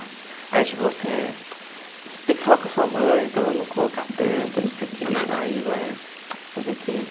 Aí a tia falava assim, eh você tem que falar com a sua mãe para ela não colocar tanto, não sei o que, aí vai fazer o que,